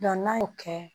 n'a y'o kɛ